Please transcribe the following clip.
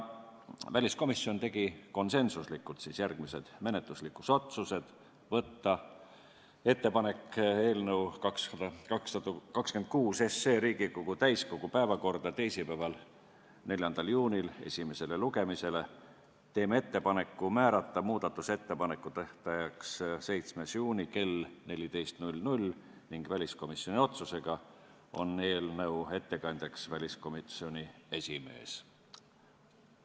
Väliskomisjon tegi konsensuslikult järgmised menetluslikud otsused: tegime ettepaneku saata eelnõu 26 Riigikogu täiskogu päevakorda esimesele lugemisele teisipäevaks, 4. juuniks, tegime ettepaneku määrata muudatusettepanekute esitamise tähtajaks 7. juuni kell 14 ning väliskomisjoni otsusega on eelnõu ettekandja väliskomisjoni esimees.